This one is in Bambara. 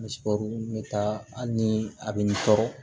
n bɛ taa hali ni a bɛ n tɔɔrɔ